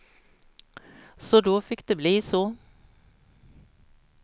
Så då fick det bli så.